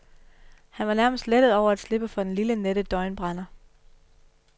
Han var nærmest lettet over at slippe for den lille nette døgnbrænder.